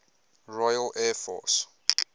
royal air force